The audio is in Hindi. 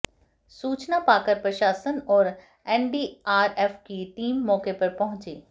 सूचना पाकर प्रशासन और एनडीआरएफ की टीम मौके पर पहुंची